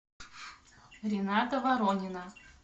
рината воронина